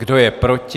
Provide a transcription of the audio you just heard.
Kdo je proti?